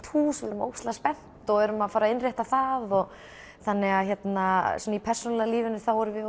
hús erum ógeðslega spennt og erum að fara að innrétta það og þannig að í persónulega lífinu erum við